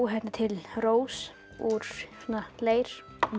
til rós úr leir